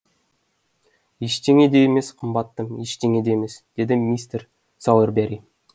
ештеңе де емес қымбаттым ештеңе де емес деді мистер сауербери